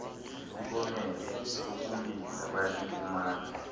sisibonelelo sokulinda bayasifumana